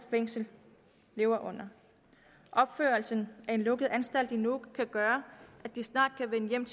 lever under opførelsen af en lukket anstalt i nuuk kan gøre at de snart kan vende hjem